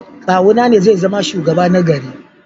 Kawuna ne zai zama shugaba na gari.